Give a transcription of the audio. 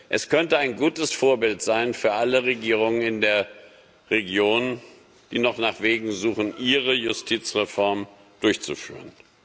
Es könnte ein gutes Vorbild sein für alle Regierungen in der Region, die noch nach Wegen suchen, ihre Justizreform durchzuführen.